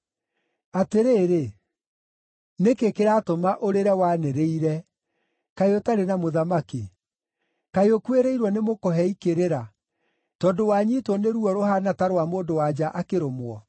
Atĩrĩrĩ, nĩkĩ kĩratũma ũrĩre wanĩrĩire, kaĩ ũtarĩ na mũthamaki? Kaĩ ũkuĩrĩirwo nĩ mũkũhei kĩrĩra, tondũ wanyiitwo nĩ ruo rũhaana ta rwa mũndũ-wa-nja akĩrũmwo?